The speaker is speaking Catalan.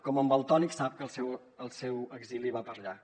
com en valtònyc sap que el seu exili va per llarg